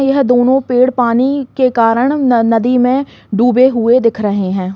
यह दोनों पेड़ पानी के कारण न नदी में डूबे हुए दिख रहे हैं।